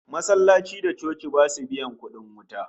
Masallatai da coci basu biyan kudin wuta